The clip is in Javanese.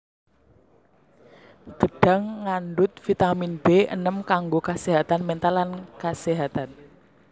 Gedhang ngandhut vitamin B enem kanggo kaséhatan méntal lan kaséhatan